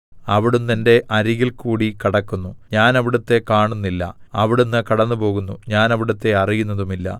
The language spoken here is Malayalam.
അവിടുന്ന് എന്റെ അരികിൽ കൂടി കടക്കുന്നു ഞാൻ അവിടുത്തെ കാണുന്നില്ല അവിടുന്ന് കടന്നുപോകുന്നു ഞാൻ അവിടുത്തെ അറിയുന്നതുമില്ല